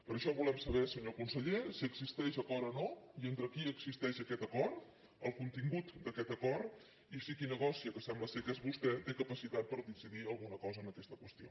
per això volem saber senyor conseller si existeix acord o no i entre qui existeix aquest acord el contin·gut d’aquest acord i si qui negocia que sembla que és vostè té capacitat per decidir alguna cosa en aquesta qüestió